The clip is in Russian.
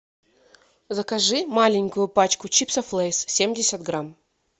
закажи маленькую пачку чипсов лейс семьдесят грамм